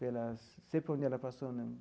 Pelas sempre onde ela passou, né?